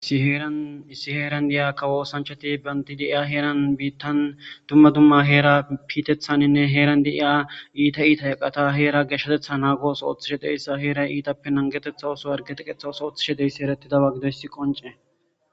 Issi heerani kawo osanichchati banti deiya heerani bitani dumma dumma Heera piteeththani heereni deiya itta itta eqata Heera geeshshateththa nanigodi oththo ooththishe deizayisa heera ittape nanigetetha otho harige nage oththoppe oththo ooththishe dizayisa besesi